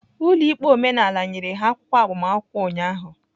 Ụlọ ikpe omenala nyere ha akwụkwọ agbamakwụkwọ ụnyaahụ.